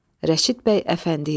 Rəşid bəy Əfəndiyev.